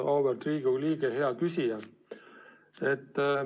Auväärt Riigikogu liige, hea küsija!